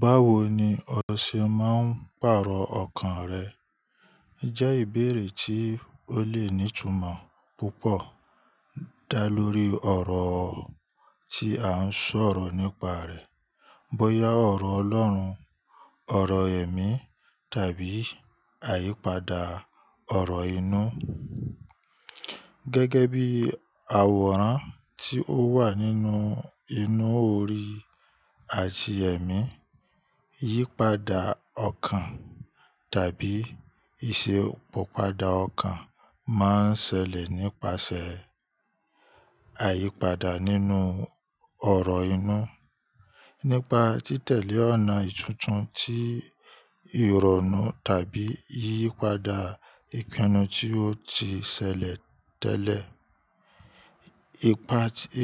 Báwo ni ọṣẹ máa ń pàrọ̀ ọkàn rẹ? Jẹ́ ìbéèrè tí ó le ní ìtumọ̀ púpọ̀ dá lórí ọ̀rọ̀ tí à ń sọ̀rọ̀ nípa rẹ̀. Bóyá ọ̀rọ̀ Ọlọ́run, ọ̀rọ̀ ẹ̀mí tàbí àyípadà ọ̀rọ̀ inú. Gẹ́gẹ́ bí àwòrán tí ó wà nínú inú òrì àti ẹ̀mí, iyípadà ọkàn tàbí ìṣepọ̀padà ọkàn máa ń ṣẹlẹ̀ nípasẹ̀ àyípadà nínú ọ̀rọ̀ inú. Nípa títẹ̀lé ọ̀nà ìtuntun tí ìrọ̀rùn tàbí yípadà ìpinnu tí ó ti ṣẹlẹ̀ tẹ́lẹ̀.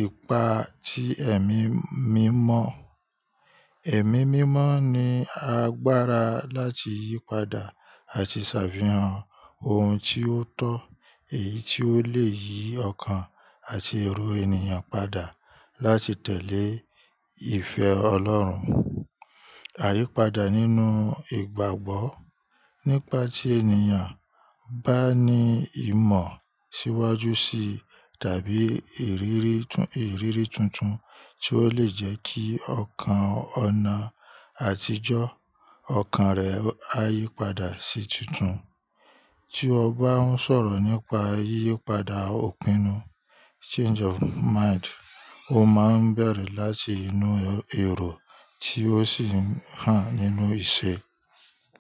Ìpa tí ẹ̀mí mímọ́. Ẹ̀mí mímọ́ ní agbára láti yípadà àti ṣàfihàn ohun tí ó tọ́ èyí tí ó lè yí ọkàn àti èrò ènìyàn padà láti tẹ̀lé ìfẹ́ Ọlọ́run. Àyípadà nínú ìgbàgbọ́. Nípa tí ènìyàn bá ní ìmọ̀ síwájú sí tàbí ìrírí, iriri tuntun tí ó lè jẹ́ kí ọkàn ọ̀nà àtijọ́ ọkàn rẹ̀ á yípadà sí títun. Tí ọ bá ń sọ̀rọ̀ nípa yípadà òpínnu, change of mind, ó máa ń bẹ̀rẹ̀ láti inú èrò tí ó sì hàn nínú ìṣe.